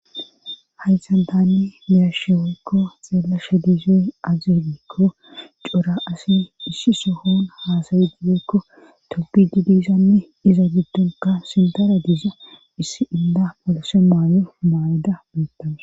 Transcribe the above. Hayssan tani be7ashe woykko dizay aaze giikko cora asay issi sohon haasayidi tobbidi de7iyoganne iza giddon issi indd gashe mayo mayada beetaws.